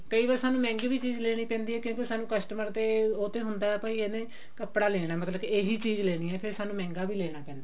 ਕਈ ਵਾਰ ਸਾਨੂੰ ਮਹਿੰਗੀ ਵੀ ਚੀਜ਼ ਲੈਣੀ ਪੈਂਦੀ ਹੈ ਕਈ ਵਾਰ ਸਾਨੂੰ customer ਦੇ ਉਹ ਤੇ ਹੁੰਦਾ ਭਾਈ ਇਹਨੇ ਕੱਪੜਾ ਲੈਣਾ ਮਤਲਬ ਕਿ ਇਹੀ ਚੀਜ਼ ਲੈਣੀ ਹੈ ਫ਼ੇਰ ਸਾਨੂੰ ਮਹਿੰਗਾ ਵੀ ਲੈਣਾ ਪੈਂਦਾ